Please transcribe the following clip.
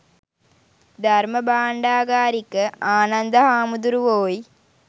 ධර්ම භාණ්ඩාගාරික ආනන්ද හාමුදුරුවෝයි.